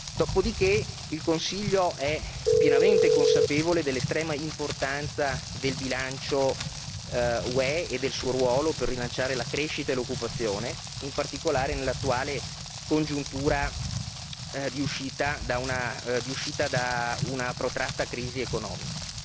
Dopodiché il Consiglio è pienamente consapevole dell'estrema importanza del bilancio UE e del suo ruolo per rilanciare la crescita e l'occupazione, in particolare nell'attuale congiuntura di uscita da una protratta crisi economica.